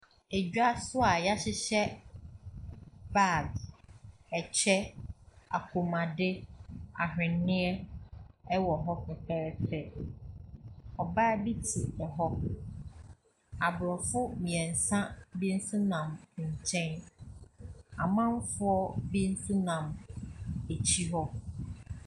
Edwa so a wɔahyehyɛ bags, ɛkyɛ, kɔnmuadeɛ, ahweneɛ wɔ hɔ fɛfɛɛfɛ. Ɔbaa bi te hɔ. Aborɔfo mmeɛnsa bi nso nam nkyɛn. Amanfoɔ bi nso nam akyire hɔ.